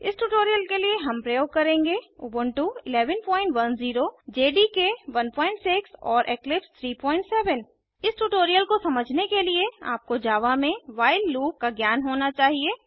इस ट्यूटोरियल के लिए हम प्रयोग करेंगे उबुंटू 1110 जेडीके 16 और इक्लिप्स 37 इस ट्यूटोरियल को समझने के लिए आपको जावा में व्हाइल लूप का ज्ञान होना चाहिए